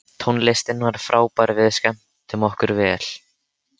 Tónlistin var frábær og við skemmtum okkur vel.